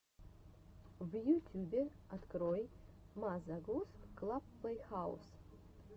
в ютюбе открой мазе гус клаб плейхаус